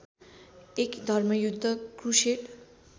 एक धर्मयुद्ध क्रुसेड